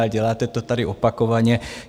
Ale děláte to tady opakovaně.